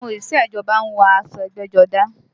Àwọn òṣìṣẹ́ ìjọba ń wọ aṣọ ẹgbẹ́jọdá